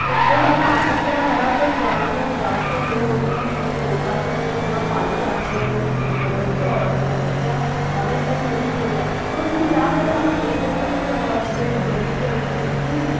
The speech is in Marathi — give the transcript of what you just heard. प्रत्येकाला आपापल्या घरातच जानवं जास्त हे होत म्हणून लोकांनी मधे सगळ पाई चालणं वैगरे सुरु केल होत आणि अश्या या अनेक काही गोष्टी होत्या पण तू त्यावेळेलाना एक गोष्ट पण म्हणजे बघितली अशील कि